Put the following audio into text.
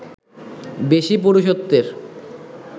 বেশি পুরুষত্বের